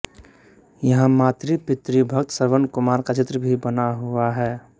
यहाँ मातृपितृ भक्त श्रवण कुमार का चित्र भी बना हुआ है